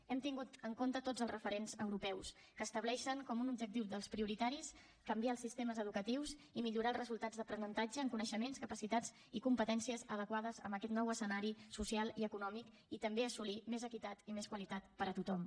hem tingut en compte tots els referents europeus que estableixen com un objectiu dels prioritaris canviar els sistemes educatius i millorar els resultats d’aprenentatge en coneixements capacitats i competències adequades en aquest nou escenari social i econòmic i també assolir més equitat i més qualitat per a tothom